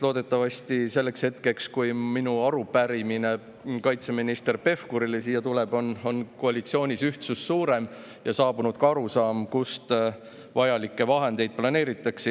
Loodetavasti selleks hetkeks, kui minu arupärimine kaitseminister Pevkurile siin tuleb, on koalitsioonis ühtsus suurem ja on saabunud ka arusaam, kust vajalikke vahendeid planeeritakse.